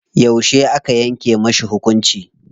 Yauce aka yanke mashi hukunci?